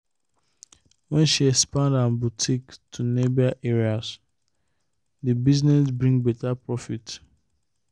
when she expand her boutique to nearby area the business bring better profit.